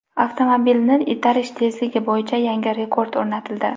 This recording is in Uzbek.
Avtomobilni itarish tezligi bo‘yicha yangi rekord o‘rnatildi.